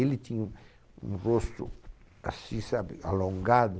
Ele tinha um, um rosto assim, sabe, alongado.